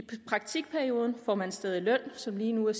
praktikperioden får man stadig en løn som lige nu er